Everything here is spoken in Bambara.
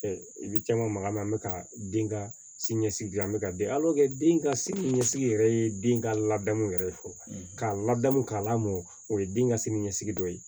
i bɛ caman magama an bɛ ka den ka sini ɲɛsigi dilan an bɛ ka den den ka sini ɲɛsigi yɛrɛ ye den ka ladamu yɛrɛ fo k'a ladamu k'a lamɔ o ye den ka sini ɲɛsigi dɔ ye